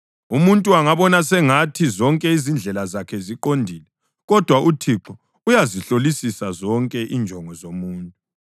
Umuntu angabona sengathi zonke izindlela zakhe ziqondile, kodwa uThixo uyazihlolisisa zonke injongo zomuntu.